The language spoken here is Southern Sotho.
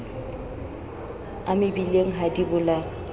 a mebileng ha di bolawe